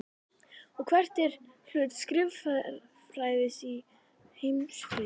Og hvert er hlutverk skrifræðis í heimsfriði?